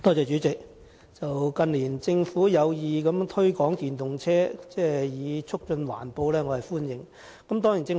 主席，近年政府有意推廣電動車以促進環保，對此我是歡迎的。